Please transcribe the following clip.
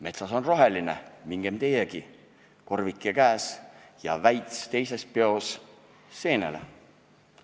Metsas on roheline, mingem teiegi, korvike käes ja väits teises peos, seenele.